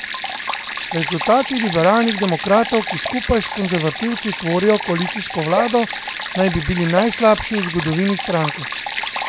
Rezultati liberalnih demokratov, ki skupaj s konservativci tvorijo koalicijsko vlado, naj bi bili najslabši v zgodovini stranke.